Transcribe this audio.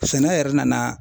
Sɛnɛ yɛrɛ nana